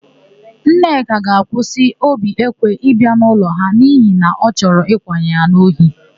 Nneka ga-akwụsị Obiekwe ịbịa n'ụlọ ha n'ihi na ọ chọrọ ịkwanye ya n'ohi.